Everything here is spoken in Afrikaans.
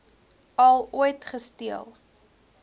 al ooit gesteel